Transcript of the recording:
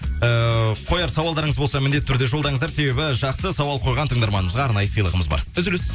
ыыы қояр сауалдарыңыз болса міндетті түрде жолдаңыздар себебі жақсы сауал қойған тыңдарманымызға арнайы сыйлығымыз бар үзіліс